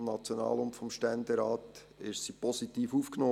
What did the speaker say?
Sie wurde im National- und im Ständerat positiv aufgenommen.